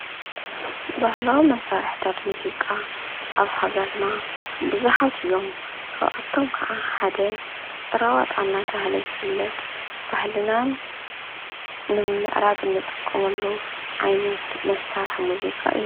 ባህላዊ መሳርሕታት ሙዚቃ ብዙሓት እዮም፡፡ ካብኣቶም ከዓ ሓደ ጭራ ዋጣ እናተባህለ ዝፍለጥ ባህልና ንምዕራግ እንጥቀመሉ ዓይነት መሳርሒ ሙዚቃ እዩ፡፡